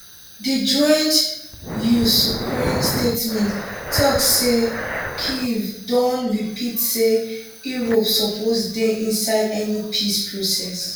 di joint usukraine statement tok say kyiv don repeat say europe suppose dey inside any peace process